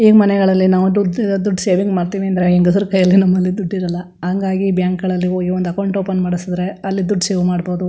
ಈ ಮನೆಗಳಲ್ಲಿ ನಾವು ದುಡ್ಡ್ ದುಡ್ಡ ಸೇವಿಂಗ್ ಮಾಡತೀನಿ ಅಂದ್ರೆ ಹೆಂಗಸ್ರ ಕೈಯಲ್ಲಿ ನಮ್ಮಲ್ಲಿ ದುಡ್ಡ ಇರಲ್ಲಾ ಹಂಗಾಗಿ ಬ್ಯಾಂಕ್ ಗಳಲ್ಲಿ ಹೋಗಿ ಒಂದು ಅಕೌಂಟ್ ಓಪನ್ ಮಾಡ್ಸದ್ರೆ ಅಲ್ಲಿ ದುಡ್ಡ ಸೇವ್ ಮಾಡಬಹುದು.